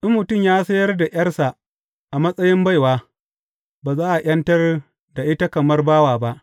In mutum ya sayar da ’yarsa a matsayin baiwa, ba za a ’yantar da ita kamar bawa ba.